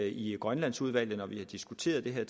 i grønlandsudvalget når vi har diskuteret det her